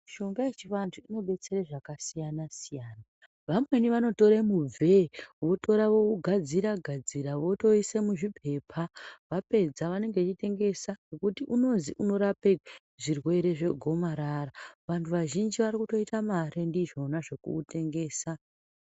Mishonga yechivantu inobetsere zvakasiyana-siyana, vamweni vanotore mubvee votora vougadzira-gadzira votoise muzvipepa. Vapedza vanenge veitengesa ngekuti unozi unorape zvirwere zvegoma. Vantu vazhinji vari kutoita mare ndizvona zvekuutengesa.